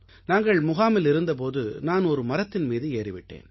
நாங்கள் முகாமில் இருந்த போது நான் ஒரு மரத்தின் மீது ஏறிவிட்டேன்